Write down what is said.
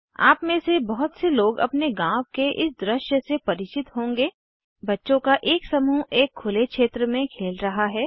आप में से बहुत से लोग अपने गाँव के इस दृश्य से परिचित होंगे बच्चों का एक समूह एक खुले क्षेत्र में खेल रहा है